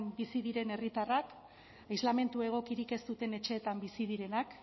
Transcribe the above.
bizi diren herritarrak islamentu egokirik ez duten etxeetan bizi direnak